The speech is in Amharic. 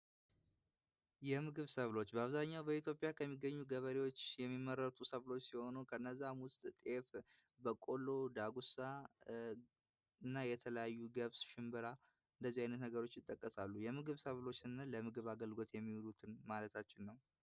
የምግብ ሰዎች በአብዛኛው በኢትዮጵያ ከሚገኙ ገበሬዎች የሚመረጡ ሰዎች ሲሆኑ ከነዛ እና የተለያዩ ገብስ ሽንብራ በቆሎ የመሳሰሉ ነገሮች ይጠቀሳሉ። የምግብ ሰብሎ ለምግብ አገልግሎት የሚሉት ማለት ነው።